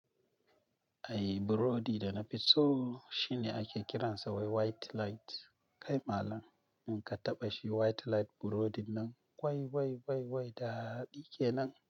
Ai burodi da na fi so shine ake kiransa wai white light. Kai malam in ka taɓa shi white light burodin nan, wai wai wai wai daɗi kenan.